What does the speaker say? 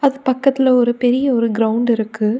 பக்கத்துல ஒரு பெரிய ஒரு கிரவுண்டிருக்கு .